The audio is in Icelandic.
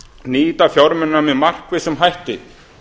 nýta fjármunina með markvissum hætti